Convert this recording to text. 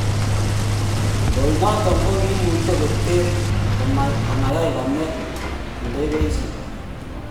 Loinoton kogiimuche koter koma yai kome ndegeishek